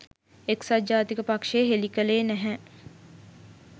එක්සත් ජාතික පක්ෂය හෙළි කළේ නැහැ